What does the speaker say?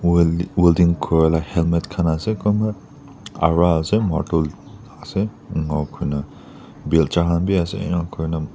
la helmet khan ase kunba aru ase martul ase enka kurina bilja khan biase enakurina.